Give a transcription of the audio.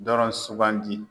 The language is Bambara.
Dɔrɔn sugandi.